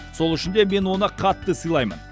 сол үшін де мен оны қатты сыйлаймын